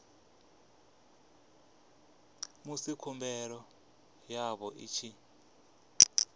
musi khumbelo yavho i tshi